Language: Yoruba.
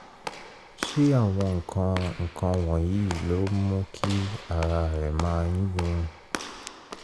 ṣé àwọn nǹkan nǹkan wọ̀nyí ló ń mú kí ara rẹ máa yún un?